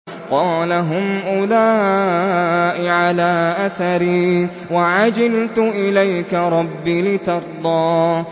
قَالَ هُمْ أُولَاءِ عَلَىٰ أَثَرِي وَعَجِلْتُ إِلَيْكَ رَبِّ لِتَرْضَىٰ